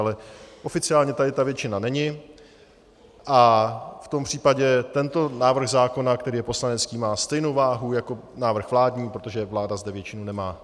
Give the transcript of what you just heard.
Ale oficiálně tady ta většina není a v tom případě tento návrh zákona, který je poslanecký, má stejnou váhu jako návrh vládní, protože vláda zde většinu nemá.